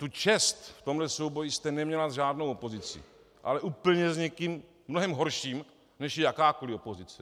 Tu čest v tomhle souboji jste neměla s žádnou opozicí, ale úplně s někým mnohem horším, než je jakákoliv opozice.